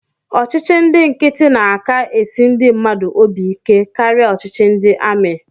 Ọchịchị ndị nkịtị na-aka esi ndị mmadụ obi ike karịa ọchịchị ndị amị